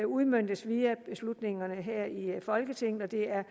udmøntes via beslutningerne her i folketinget og det er